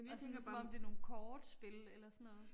Og sådan som om det nogle kortspil eller sådan noget